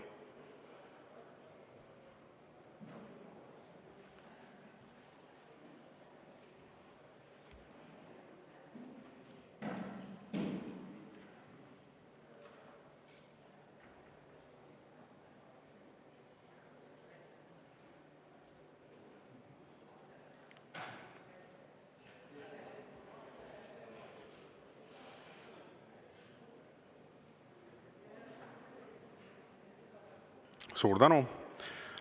Suur tänu!